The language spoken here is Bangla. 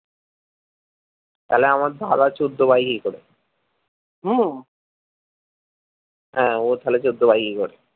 তাইলে আমার দাদা চোদ্দো পায় কি করে হম হ্যা ও তাহলে চোদ্দো পায় কি করে?